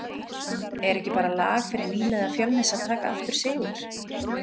Er ekki bara lag fyrir nýliða Fjölnis að taka aftur sigur?